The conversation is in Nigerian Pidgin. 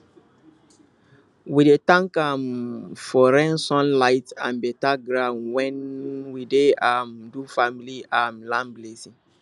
we dey thank um for rain sun light and better ground when we dey um do family um land blessing